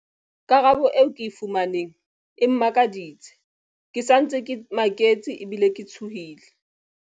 Karabelo eo ke e fumaneng e mmakaditse. Ke sa ntse ke maketse ebile ke tshohile.